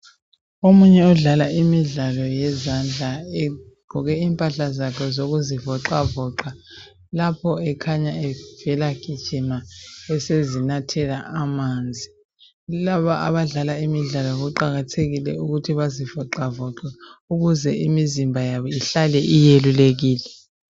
Omunye odlala imidlalo yezandla egqoke impahla zakhe zokuzivoxavoxa, lapho ekhanya evela gijima, esezinathela amanzi. Kulaba abadlala imidlalo kuqakathekile ukuthi bazivoxavoxe ukuze imizimba yabo ihlale iyelulekile.